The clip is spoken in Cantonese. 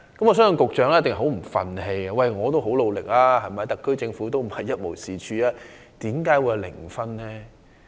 我相信局長一定很不服氣，因為他已經很努力，而特區政府又並非一無是處，為何得分是零分呢？